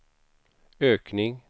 ökning